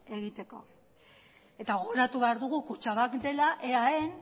egiteko eta gogoratu behar dugu kutxabank dela eaen